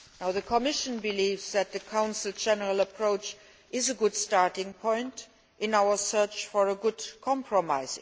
The Commission believes that the Council's general approach is a good starting point in our search for a good compromise.